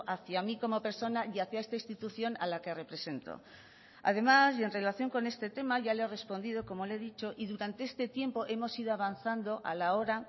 hacia mí como persona y hacia esta institución a la que represento además y en relación con este tema ya le he respondido como le he dicho y durante este tiempo hemos ido avanzando a la hora